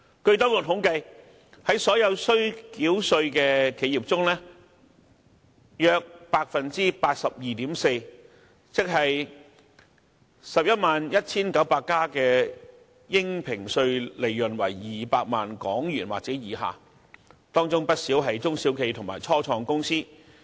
據當局統計，在所有須繳稅的企業中，約有 82.4% 的應評稅利潤為200萬元或以下，這些企業中不少是中小企和初創公司。